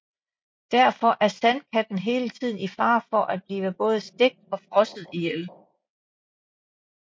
Derfor er Sandkatten hele tiden i fare for at blive både stegt og frosset ihjel